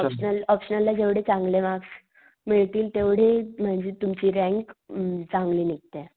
Optional ला जेवढे चांगले मार्क्स मिळतील तेवढे म्हणजे तुमची रँक अं चांगली निघते.